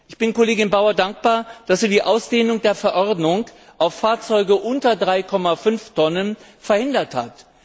Ich bin Kollegin Bauer dankbar, dass sie die Ausdehnung der Verordnung auf Fahrzeuge unter 3,5 Tonnen verhindert hat.